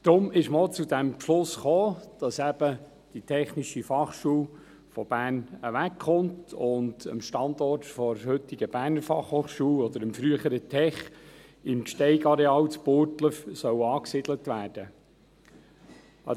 Darum ist man auch zu diesem Beschluss gekommen, dass eben die TF von Bern wegkommt und am Standort der heutigen BFH oder dem früheren Tech im Gsteig-Areal in Burgdorf angesiedelt werden soll.